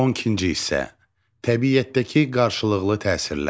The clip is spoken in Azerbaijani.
12-ci hissə: Təbiətdəki qarşılıqlı təsirlər.